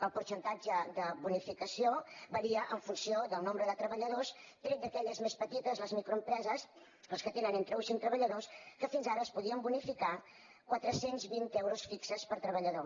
el percentatge de bonificació varia en funció del nombre de treballadors tret d’aquelles més petites les microempreses les que tenen entre un i cinc treballadors que fins ara es podien bonificar quatre cents i vint euros fixos per treballador